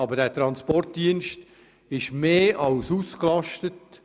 Aber dieser Transportdienst ist mehr als ausgelastet.